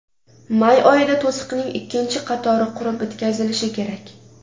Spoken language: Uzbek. May oyida to‘siqning ikkinchi qatori qurib bitkazilishi kerak.